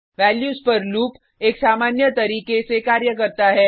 values पर loop एक सामान्य तरीके से कार्य करता है